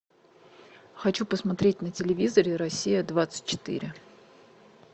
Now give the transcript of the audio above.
хочу посмотреть на телевизоре россия двадцать четыре